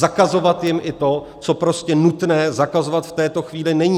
Zakazovat jim i to, co prostě nutné zakazovat v této chvíli není.